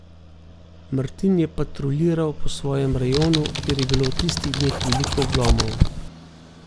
Martin je patruljiral po svojem rajonu, kjer je bilo v tistih dneh veliko vlomov.